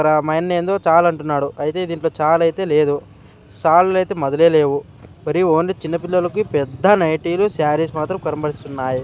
ఇక్కరా మాయన్నేందో చాలంటున్నాడు అయితే దీంట్లో చాలైతే లేదు సాలులైతే మధులే లేవు బరీ ఓన్లీ చిన్నపిల్లలకి పెద్ద నైటీ లు సారీస్ మాత్రం కరుంబరిస్తున్నాయి .